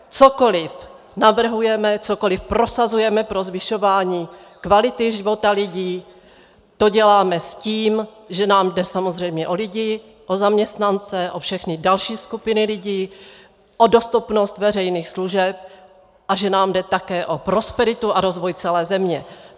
Cokoliv navrhujeme, cokoliv prosazujeme pro zvyšování kvality života lidí, to děláme s tím, že nám jde samozřejmě o lidi, o zaměstnance, o všechny další skupiny lidí, o dostupnost veřejných služeb a že nám jde také o prosperitu a rozvoj celé země.